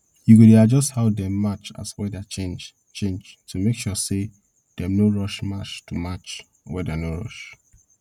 you go dey adjust how dem march as weather change change make sure dem no rush march to match weather no rush